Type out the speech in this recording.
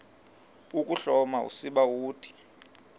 ukuhloma usiba uthi